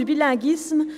de Biel/ Bienne (CAF)